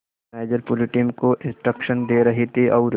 organiser पूरी team को instruction दे रहे थे और